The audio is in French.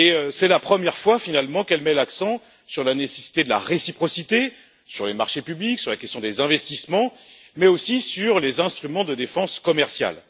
C'est la première fois, finalement, qu'elle met l'accent sur la nécessité de la réciprocité en matière de marchés publics et d'investissements, mais aussi sur les instruments de défense commerciale.